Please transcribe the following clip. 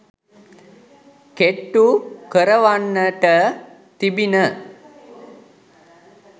කෙට්ටු කරවන්නට තිබිණ